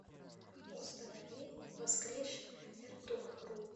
установи воскресший эртугрул